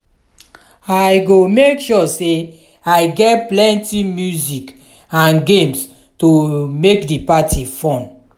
i go make sure say i get plenty music and games to make di party fun.